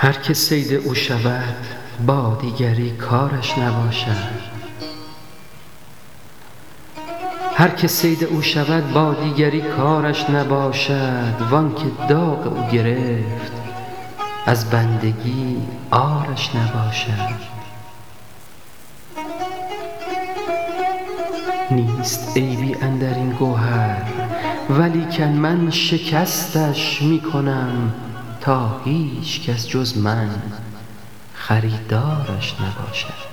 هر که صید او شود با دیگری کارش نباشد وانکه داغ او گرفت از بندگی عارش نباشد نیست عیبی اندرین گوهرولیکن من شکستش می کنم تاهیچ کس جز من خریدارش نباشد